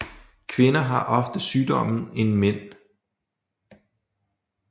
Kvinder har oftere sygdommen end mænd